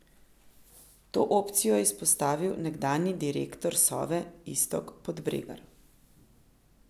To opcijo je izpostavil nekdanji direktor Sove Iztok Podbregar.